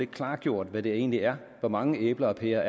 klargjort hvad det egentlig er hvor mange æbler og pærer